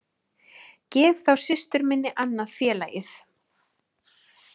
Gef þá systur minni annað félagið